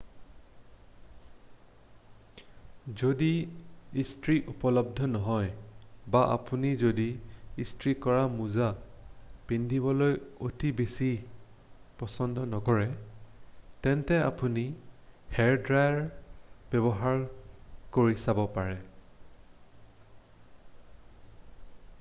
যদি ইস্ত্ৰী উপলব্ধ নহয় বা আপুনি যদি ইস্ত্ৰী কৰা মোজা পিন্ধিবলৈ অতি বেছি পচন্দ নকৰে তেন্তে আপুনি হেয়াৰড্ৰায়াৰ ব্যৱহাৰ কৰি চাব পাৰে